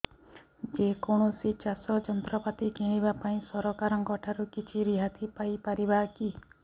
ଯେ କୌଣସି ଚାଷ ଯନ୍ତ୍ରପାତି କିଣିବା ପାଇଁ ସରକାରଙ୍କ ଠାରୁ କିଛି ରିହାତି ପାଇ ପାରିବା କି